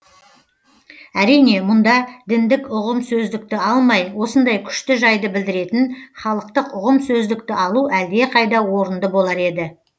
әрине мұнда діндік ұғым сөздікті алмай осындай күшті жайды білдіретін халықтық ұғым сөздікті алу әлдеқайда орынды болар еді